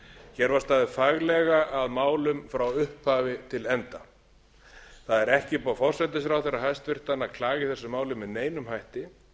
hér var staðið faglega að málum frá upphafi til enda það er ekki upp á forsætisráðherra hæstvirtur að klaga í þessu máli með neinum hætti hins vegar